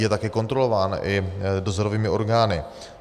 Je také kontrolován i dozorovými orgány.